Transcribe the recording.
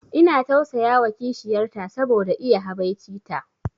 Ina tausayawa kishiyar ta saboda iya habaici ta